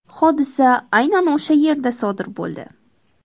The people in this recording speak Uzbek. Hodisa aynan o‘sha yerda sodir bo‘ldi.